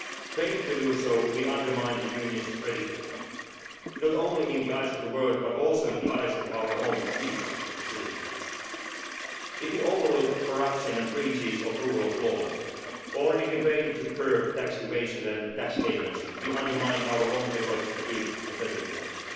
Failing to do so will undermine the Union's credibility not only in the eyes of the world, but also in the eyes of our own people and citizens. If we overlook corruption and breaches of the rule of law, or if we fail to curb tax evasion and tax havens, we undermine our own efforts to build a better